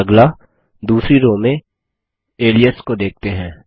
अगला दूसरी रो में अलियास को देखते हैं